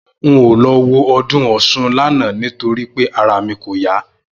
N ò lo̩ wo o̩dún Ò̩s̩un lánàá nítorí pé ara mi kò yá